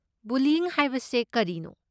ꯕꯨꯂꯤꯌ꯭ꯢꯪ ꯍꯥꯏꯕꯁꯦ ꯀꯔꯤꯅꯣ?